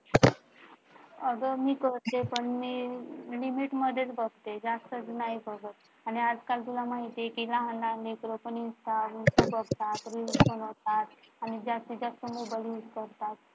अग मी करते पण Limit मध्ये बघते. जास्त नाही बघत आणि आजकाल तुला माहतीये कि लहान लहान लेकरं पण Insta बघतात, reels बनवतात आणि जास्तीत जास्त मोबाईल use करतात.